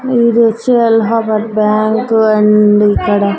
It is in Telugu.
ఇదొచ్చి అల్హాబాద్ బ్యాంకు అండ్ ఇక్కడ--